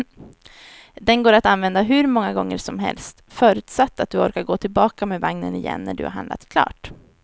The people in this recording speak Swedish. Den går att använda hur många gånger som helst, förutsatt att du orkar gå tillbaka med vagnen igen när du har handlat klart.